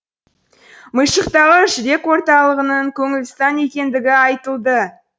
мыйшықтағы жүрек орталығының көңілстан екендігі айтылды